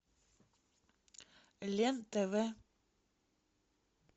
лен тв